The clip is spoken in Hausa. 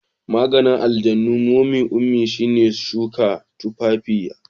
Maganin aljanun momy ummi shine shuka tumfafiya.